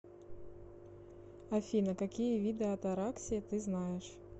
афина какие виды атараксия ты знаешь